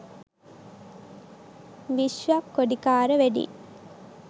vishwa kodikara wedding